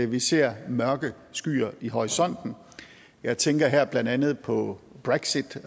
vi ser mørke skyer i horisonten jeg tænker her blandt andet på brexit